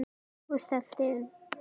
Og stefndi inn